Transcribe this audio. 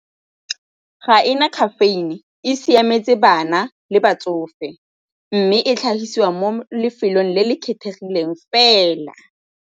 Ga e na caffeine, e siametse bana le batsofe mme e tlhagisiwa mo lefelong le le kgethegileng fela.